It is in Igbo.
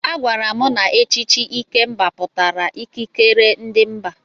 Agwara m na echichi Ikemba pụtara ikikere ndị mba.